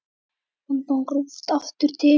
Ég tók rútuna aftur til